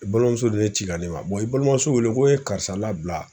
balimamuso dɔ de ci ka na ne ma i balimamuso wele ko ye karisa labila.